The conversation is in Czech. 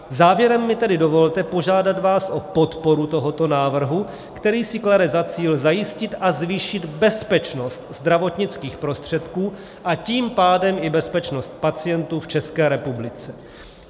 Závěrem mi tedy dovolte požádat vás o podporu tohoto návrhu, který si klade za cíl zajistit a zvýšit bezpečnost zdravotnických prostředků, a tím pádem i bezpečnost pacientů v České republice.